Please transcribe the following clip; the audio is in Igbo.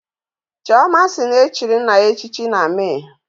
Chioma si na e chiri nna ya echichi na Mee